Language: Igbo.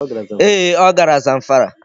Ee, ọ gara Zamfara.